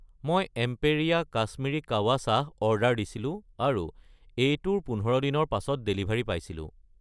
মই এম্পেৰীয়া কাশ্মীৰী কাৱা চাহ অৰ্ডাৰ দিছিলোঁ আৰু এইটোৰ 15 দিনৰ পাছত ডেলিভাৰী পাইছিলোঁ।